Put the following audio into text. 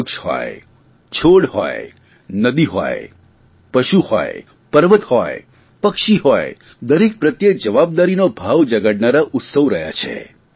વૃક્ષ હોય છોડ હોય નદી હોય પશુ હોય પર્વત હોય પક્ષી હોય દરેક પ્રત્યે જવાબદારીનો ભાવ જગાડનારા ઉત્સવ રહ્યા છે